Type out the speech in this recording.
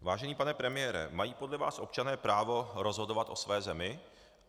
Vážený pane premiére, mají podle vás občané právo rozhodovat o své zemi?